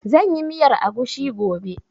Zan yi miyar agushi gobe